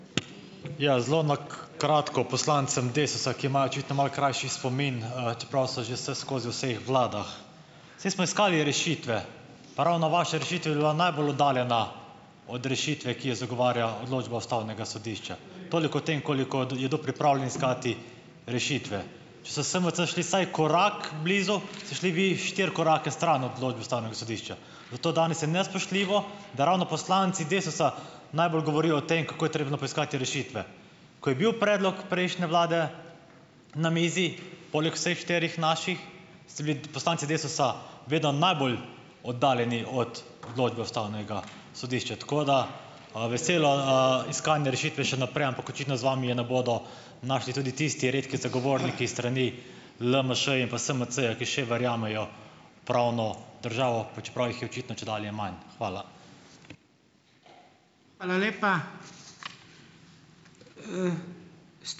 Ja. Zelo na kratko poslancem Desusa, ki imajo očitno malo krajši spomin, čeprav so že vseskozi v vseh vladah. Saj smo iskali rešitve, ravno vaša rešitev je bila najbolj oddaljena od rešitve, ki jo zagovarja odločba ustavnega sodišča. toliko o tem, koliko da, je kdo pripravljen iskati rešitve. Če so SMC šli vsaj korak blizu, ste šli vi štiri korake stran odločbe ustavnega sodišča, zato danes je nespoštljivo, da ravno poslanci Desusa najbolj govorijo o tem, kako je potrebno poiskati rešitve. Ko je bil predlog prejšnje vlade na mizi, poleg vseh štirih naših, ste bili t poslanci Desusa vedno najbolj oddaljeni od odločbe ustavnega sodišča. Tako da, veselo, iskanje rešitve še naprej, ampak očitno z vami je ne bodo našli tudi tisti redki zagovorniki s strani LMŠ in pa SMC-ja, ki še verjamejo v pravno državo, pa čeprav jih je očitno čedalje manj. Hvala.